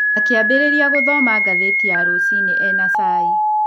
Akĩambĩrĩria gũthoma ngathĩti ya rũcinĩ e na cai.